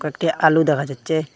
একটি আলু দেখা যাচ্চে।